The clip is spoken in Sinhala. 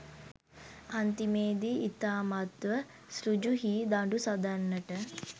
අන්තිමේදි ඉතාමත්ම ඍජු හී දඬු සදන්නට